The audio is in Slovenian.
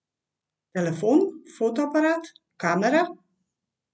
Telefon, fotoaparat, kamera?